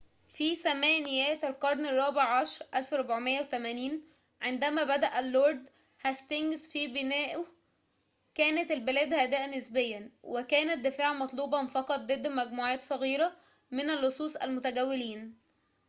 في ثمانينيات القرن الرابع عشر 1480 عندما بدأ اللورد هاستينجز في بنائه كانت البلاد هادئة نسبيًا وكان الدفاع مطلوبًا فقط ضد مجموعات صغيرة من اللصوص المتجولين